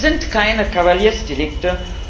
Sie sind keine Kavaliersdelikte.